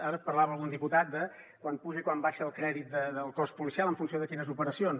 ara parlava algun diputat de quan puja i quan baixa el crèdit del cos policial en funció de quines operacions